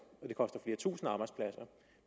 og